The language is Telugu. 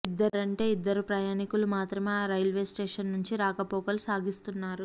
ఇద్దరంటే ఇద్దరు ప్రయాణికులు మాత్రమే ఆ రైల్వే స్టేషన్ నుంచి రాకపోకలు సాగిస్తున్నారు